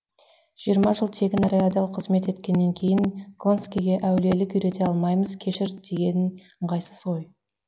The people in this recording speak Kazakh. жиырма жыл тегін әрі адал қызмет еткеннен кейін гонскэге әулиелікке үйрете алмаймыз кешір деген ыңғайсыз ғой